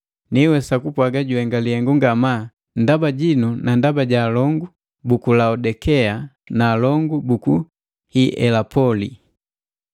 Nihwesa kupwaga juhenga lihengu ngamaa ndaba jinu na ndaba ja alongu buku Laodikea na alongu buku Hielapoli.